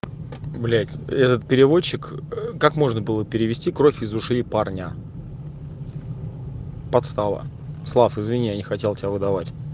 блять переводчик как можно было перевести кровь из ушей парня подстава слав извини я не хотел тебя выдавать